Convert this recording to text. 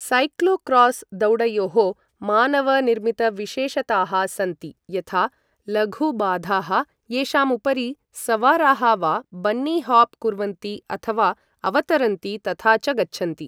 Cyclocross दौडयोः मानवनिर्मितविशेषताः सन्ति यथा लघुबाधाः येषां उपरि सवाराः वा बन्नी हॉप् कुर्वन्ति अथवा अवतरन्ति तथा च गच्छन्ति।